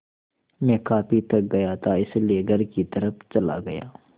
मैं काफ़ी थक गया था इसलिए घर की तरफ़ चला गया